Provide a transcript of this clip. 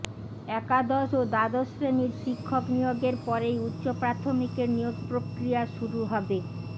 একাদশ ও দ্বাদশ শ্রেণির শিক্ষক নিয়োগের পরেই উচ্চ প্রাথমিকের নিয়োগ প্রক্রিয়া শুরু হবে